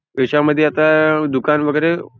हेच्या मध्ये आता दुकान वगैरे --